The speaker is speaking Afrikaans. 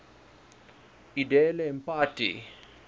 edele mpati